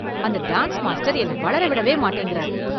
அந்த dance master என்னை வளர விட மாட்டேங்கிறாரு.